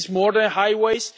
This is more than highways.